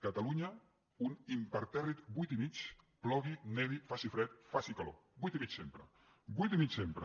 catalunya un impertèrrit vuit i mig plogui nevi faci fred faci calor vuit i mig sempre vuit i mig sempre